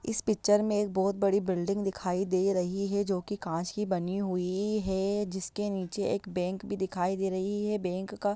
इस पिक्चर मे एक बहुत बड़ी बिल्डिंग दिखाई दे रही है जो कांच की बनी हुई है| जिसके नीचे एक बैंक भी दिखाई दे रही है| बैंक का--